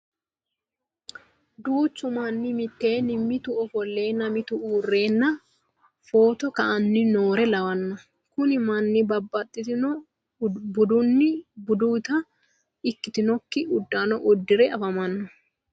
Duuchu manni mitteenni mitu ofolleenna mitu uurre footo ka'anni noore lawanno. Kuni manni babbaxitino budunna buduuta ikkitinokki uddanna uddire afamanno.